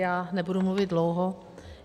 Já nebudu mluvit dlouho.